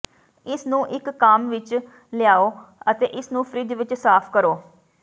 ਇਸ ਨੂੰ ਇਕ ਕਾੱਮ ਵਿਚ ਲਿਆਓ ਅਤੇ ਇਸਨੂੰ ਫਰਿੱਜ ਵਿਚ ਸਾਫ ਕਰੋ